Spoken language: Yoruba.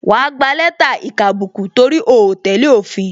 Wa gba lẹ́tà ìkàbùkù, torí o tẹ́lẹ̀ òfin